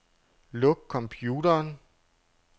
Luk computeren.